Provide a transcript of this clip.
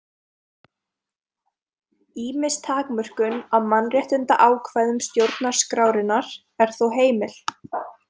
Ýmis takmörkun á mannréttindaákvæðum stjórnarskrárinnar er þó heimil.